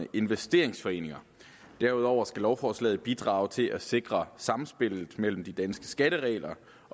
investeringsforeninger derudover skal lovforslaget bidrage til at sikre samspillet mellem de danske skatteregler